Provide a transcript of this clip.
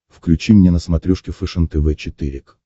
включи мне на смотрешке фэшен тв четыре к